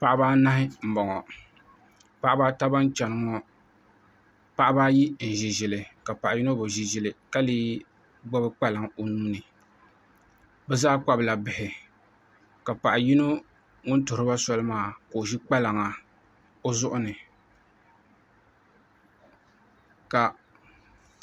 Paɣaba anahi n boŋo Paɣaba ata ban chɛni ŋo paɣaba ayi n ʒi ʒili paɣa yino bi ʒi ʒili ka lee gbubi kpalaŋ o nuuni bi zaa kpabila bihi ka paɣa yino ŋun tuɣuriba soli maa ka o ʒi kpalaŋa o zuɣu ni ka